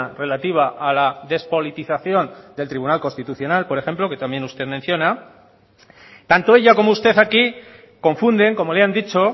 relativa a la despolitización del tribunal constitucional por ejemplo que también usted menciona tanto ella como usted aquí confunden como le han dicho